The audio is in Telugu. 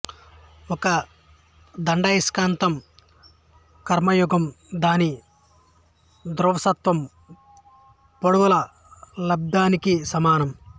ఒక దండాయస్కాంతం క్రమయుగ్మం దాని ధ్రువసత్వం పొడవుల లబ్ధానికి సమానం